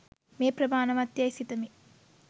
මේ ප්‍රමාණවත් යැයි සිතමි